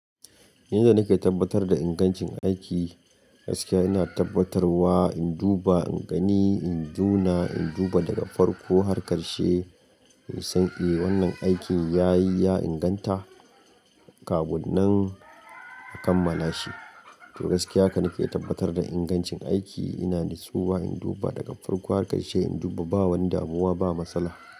Yan da nake tabbatar da ingancin aiki, gaskiya ina tabbatarwa, in duba, in gani, in juna, in duba daga farko har ƙarshe in san, eh wannan aikin ya yi, ya inganta. Kabunan akan malashi. To gaskiya haka nake tabbatar da ingancin aiki. Ina nutsuwa, in duba daga farko har ƙarshe, in duba ba wani damuwa ba matsala.